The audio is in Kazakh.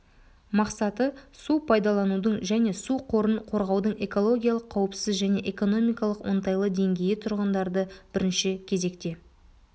мақсаты су пайдаланудың және су қорын қорғаудың экологиялық қауіпсіз және экономикалық оңтайлы деңгейі тұрғындарды бірінші кезекте